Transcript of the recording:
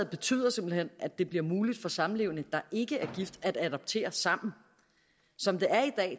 betyder simpelt hen at det bliver muligt for samlevende der ikke er gift at adoptere sammen som det